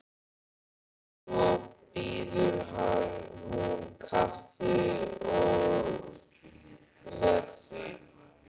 Svo býður hún kaffi og með því.